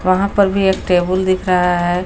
वहां पर भी एक टेबुल दिख रहा है।